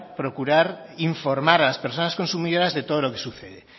procurar informar a las personas consumidoras de todo lo que sucede